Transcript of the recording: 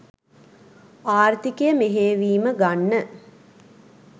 ආර්ථිකය මෙහෙයවීම ගන්න